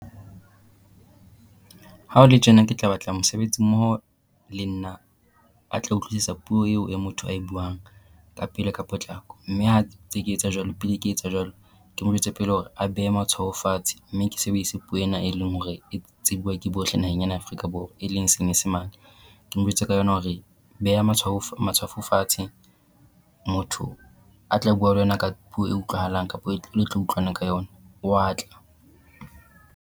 Ha ho le tjena ke tla batla mosebetsi mmoho le nna a tla utlwisisa puo eo e motho a e buang ka pele ka potlako. Mme ha tse ke etsa jwalo pele ke etsa jwalo ke mo jwetse pele hore a behe matshwaho fatshe mme ke sebedise puo ena e leng hore e tsebua ke bohle naheng ena ya Afrika Borwa e leng Senyesemane. Ke mo Jwetse ka yona hore beha matshwawo matshwafo fatshe motho a tla bua le wena ka puo e utlwahalang kapo e le tla utlwana ka yona wa tla.